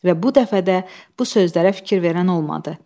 Və bu dəfə də bu sözlərə fikir verən olmadı.